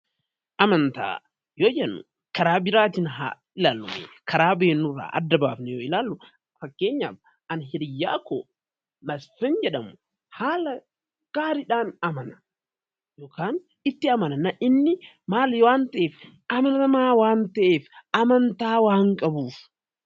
Amantaa yoo jennu karaa biraatiin haa ilaallu. Karaa beeknu irraa adda baafnee yoo ilaallu, fakkeenyaaf ani hiriyyaa koo Masfin jedhamu haala gaariidhaan amana yookaan itti amana. Inni maal waan ta'eef, dhala namaa waan ta'eef amantaa waan qabuuf.